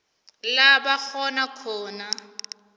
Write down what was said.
la bakghona khona